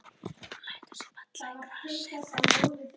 Hún lætur sig falla í grasið.